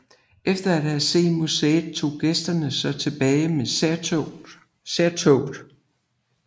Efter at have set museet tog gæsterne så tilbage med særtoget